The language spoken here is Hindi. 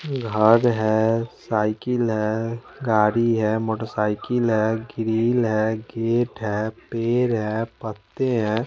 घड है साइकिल है गाड़ी है मोटरसाइकिल है ग्रील है गेट है पेड़ है पत्ते हैं।